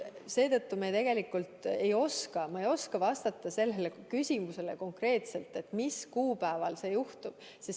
Seetõttu ma tegelikult ei oska sellele küsimusele konkreetselt vastata, mis kuupäeval see juhtub.